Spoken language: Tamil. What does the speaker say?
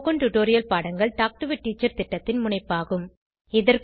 ஸ்போகன் டுடோரியல் பாடங்கள் டாக் டு எ டீச்சர் திட்டத்தின் முனைப்பாகும்